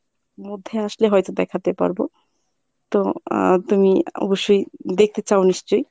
মধ্যে আসলে হয়ত দেখাতে পারব। তো আহ তুমি অ~ অবশ্যই দেখতে চাও নিশ্চয়ই?